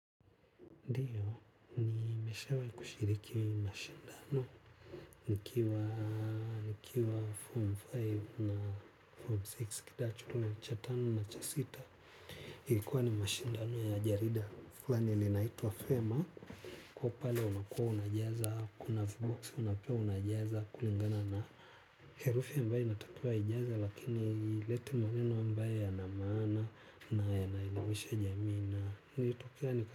Ndiyo, nimeshawahi kushiriki mashindano, nikiwa, nikiwa form tano na form sita, kidato cha tano na cha sita, ilikuwa ni mashindano ya jarida, fulani limaitwa Fema, kwahyo pale unakuwa unajaza, kuna viboksi unapewa unajaza, kulingana na herufi ya ambaye inatakiwa ijazwe lakini ilete maneno ambaye yana maana, na yanaielimisha jamii na, nilitokea nika.